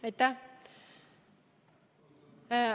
Aitäh!